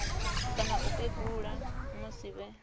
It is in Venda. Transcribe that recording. kana u kegula musi vhe